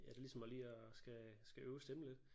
Ja det ligesom at lige at skal skal øve stemmen lidt